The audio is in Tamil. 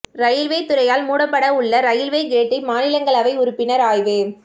இரயில்வே துறையால் மூடப்பட உள்ள இரயில்வே கேட்டை மாநிலங்களவை உறுப்பினர் ஆய்வு